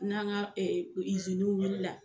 N'an ka iziniw wuli la